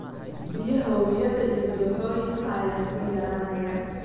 Biyaha wabiyada iyo dooxooyinka ayaa sii yaraanaya.